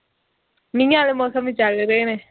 ਮੀਂਹ ਵਾਲੇ ਮੌਸਮ ਹੀ ਚਲ ਰਹੇ ਨੇ